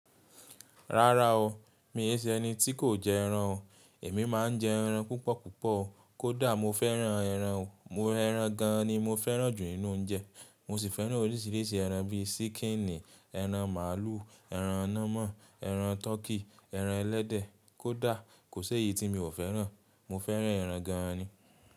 Rárá o, mi ṣe ẹni tí kò jẹ ẹran o. Èmi má a ń jẹ ẹran púpọ̀ púpọ̀. Kódà mo fẹ́ran ẹran. Ẹran gan an ni mo fẹ́ran jù nínú oúnjẹ. Mo sì fẹ́ran orísìírísìí ẹran bí i ṣíkììnì, ẹran màálù, ẹran nama, ẹran tọkí, ẹran ẹlẹ́dẹ̀, kódà kò sé èyí tí mi ò fẹ́ran. Mo fẹ́ran ẹran gan an ni.